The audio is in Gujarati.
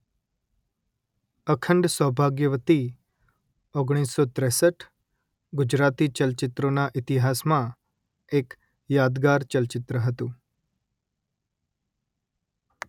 અખંડ સૌભાગ્યવતી ઓગણીસો ત્રેસઠ ગુજરાતી ચલચિત્રોના ઈતિહાસમાં એક યાદગાર ચલચિત્ર હતું